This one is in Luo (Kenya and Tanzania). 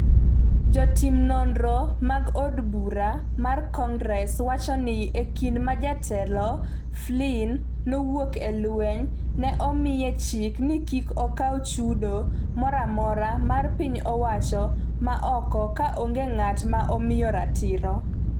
Jotim nonro mag od bura mar Congress wacho ni e kinde ma Jatelo Flynn nowuok e lweny, ne omiye chik ni kik okaw chudo moro amora mar piny owacho ma oko ka onge ng’at ma omiye ratiro.